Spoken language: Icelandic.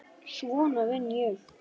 Svona vinn ég.